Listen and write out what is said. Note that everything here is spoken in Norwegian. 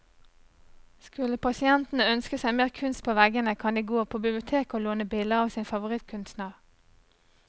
Skulle pasientene ønske seg mer kunst på veggene, kan de gå på biblioteket å låne bilder av sin favorittkunstner.